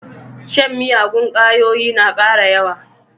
Shan miyagun ƙwayoyi na ƙara yawa.